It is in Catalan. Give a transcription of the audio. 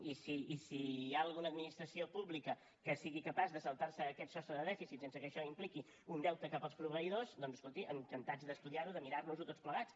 i si hi ha alguna administració pública que sigui capaç de saltar se aquest sostre de dèficit sense que això impliqui un deute cap als proveïdors doncs escolti encantats d’estudiar ho de mirar nos ho tots plegats